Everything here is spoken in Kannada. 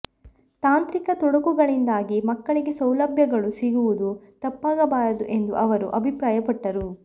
ತಾಂತ್ರಿಕ ತೊಡಕುಗಳಿಂದಾಗಿ ಮಕ್ಕಳಿಗೆ ಸೌಲಭ್ಯಗಳು ಸಿಗುವುದು ತಪ್ಪಬಾರದು ಎಂದು ಅವರು ಅಭಿಪ್ರಾಯ ಪಟ್ಟರು